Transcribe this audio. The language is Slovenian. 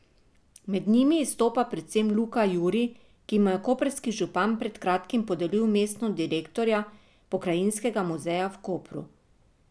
Med njimi izstopa predvsem Luka Juri, ki mu je koprski župan pred kratkim podelil mesto direktorja Pokrajinskega muzeja v Kopru.